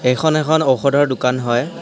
এইখন এখন ঔষধৰ দোকান হয়।